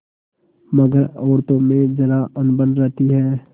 मगर औरतों में जरा अनबन रहती है